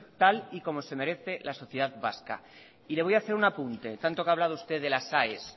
tal y como se merece la sociedad vasca y le voy a hacer un apunte tanto que ha hablado usted de las aes